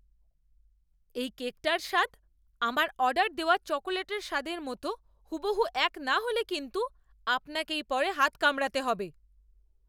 এই কেকটার স্বাদ আমার অর্ডার দেওয়া চকোলেটের স্বাদের মতো হুবহু এক না হলে কিন্তু আপনাকেই পরে হাত কামড়াতে হবে!